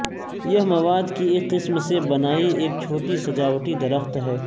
یہ مواد کی ایک قسم سے بنائی ایک چھوٹی سجاوٹی درخت ہے